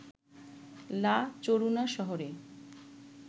লা চরুনা শহরে